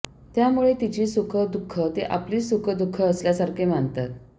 त्यामुळे तिची सुख दुःख ते आपलीच सुख दुःख असल्यासारखे मानतात